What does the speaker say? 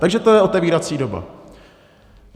Takže to je otevírací doba.